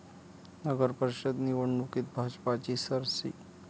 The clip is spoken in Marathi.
नगरपरिषद निवडणुकीत भाजपची सरशी